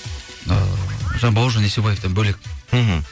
ыыы жаңа бауыржан есебаевтан бөлек мхм